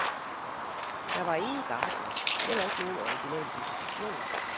Der var ingen gartner, heller ikke nogen orginal komposition.